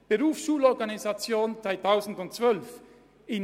Stichwort Berufsschul-Organisation 2012: